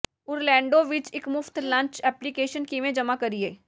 Orlando ਵਿੱਚ ਇੱਕ ਮੁਫਤ ਲੰਚ ਐਪਲੀਕੇਸ਼ਨ ਕਿਵੇਂ ਜਮ੍ਹਾਂ ਕਰੀਏ